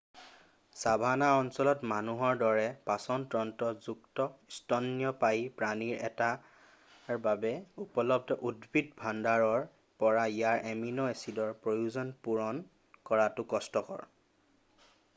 savannah অঞ্চলত মানুহৰ দৰে পাচন তন্ত্ৰ যুক্ত স্তন্যপায়ী প্ৰাণী এটাৰ বাবে উপলব্ধ উদ্ভিদ ভাণ্ডাৰৰ পৰা ইয়াৰ এমিন' এছিডৰ প্ৰয়োজন পূৰণ কৰাটো কষ্টকৰ